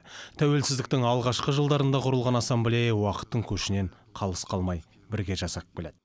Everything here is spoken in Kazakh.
тәуелсіздіктің алғашқы жылдарында құрылған ассамблея уақыттың көшінен қалыс қалмай бірге жасап келеді